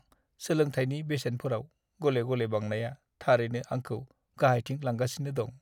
सोलोंथायनि बेसेनफोराव गले-गले बांनाया थारैनो आंखौ गाहायथिं लांगासिनो दं!